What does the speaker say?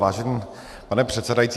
Vážený pane předsedající.